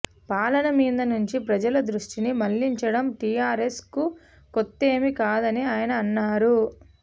పాలన మీద నుంచి ప్రజల దృష్టిని మళ్ళించడం టీఆర్ఎస్ కు కొత్తదేమీ కాదని ఆయన అన్నారు